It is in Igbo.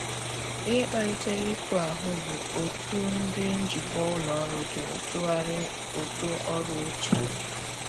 Ihe kpalitere iku ahu bụ otụ ndi njikwa ụlọ ọrụ jụrụ tughari ụtụ ọrụ ochie.